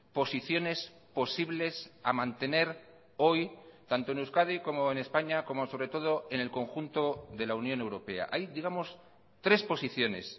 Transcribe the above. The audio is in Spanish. posiciones posibles a mantener hoy tanto en euskadi como en españa como sobre todo en el conjunto de la unión europea hay digamos tres posiciones